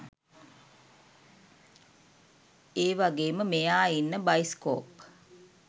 ඒවගේම මෙයා ඉන්න බයිස්කෝප්